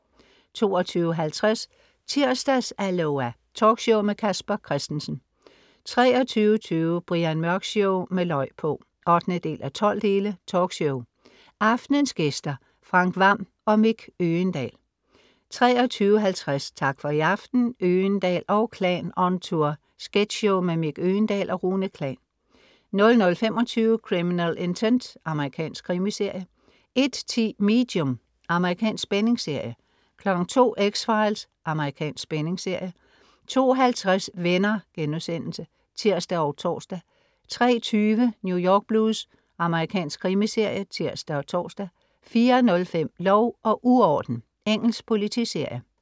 22.50 Tirsdags-Aloha! Talkshow med Casper Christensen 23.20 Brian Mørk Show med løg på! 8:12. Talkshow. Aftenens gæster: Frank Hvam og Mick Øgendahl 23.50 Tak for i aften. Øgendahl & Klan on tour. Sketchshow med Mick Øgendahl og Rune Klan 00.25 Criminal Intent. Amerikansk krimiserie 01.10 Medium. Amerikansk spændingsserie 02.00 X-Files. Amerikansk spændingsserie 02.50 Venner*(tirs og tors) 03.20 New York Blues. Amerikansk krimiserie (tirs og tors) 04.05 Lov og uorden. Engelsk politiserie